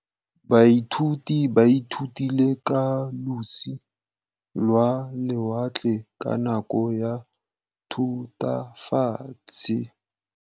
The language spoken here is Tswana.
Baithuti ba ithutile ka losi lwa lewatle ka nako ya Thutafatshe.